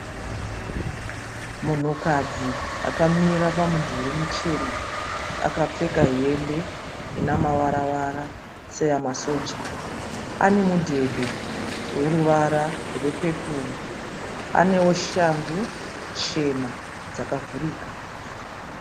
Munhukadzi akamira pamudhuri muchena. Akapfeka hembe ine mavaravara seyamasoja. Ane mudhebhe weruvara rwepepuru. Anewo shangu chena dzakavhurika.